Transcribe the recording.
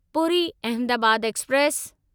Puri Ahmedabad express